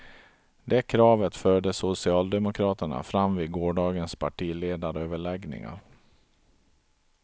Det kravet förde socialdemokraterna fram vid gårdagens partiledaröverläggningar.